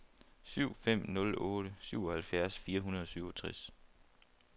syv fem nul otte syvoghalvfjerds fire hundrede og syvogtres